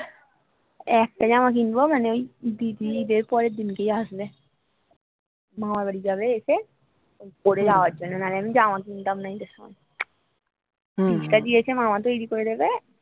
একটা জামা কিনবো মানে ওই দিদি ঈদ এর পরের দিন কেই আসবে মামাবাড়ি যাবে এসে পড়ে যাওয়ার জন্য নাহলে আমি জামা কিনতাম না ঈদ এর সময় extra দিয়েছে মামা তৈরী করে দেবে